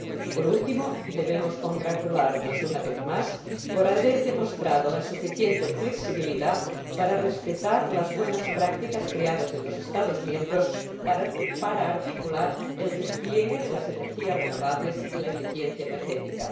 Por último, debemos congratularnos, una vez más, por haber demostrado la suficiente flexibilidad para respetar las buenas prácticas creadas en los Estados miembros para articular el despliegue de las energías renovables y la eficiencia energética.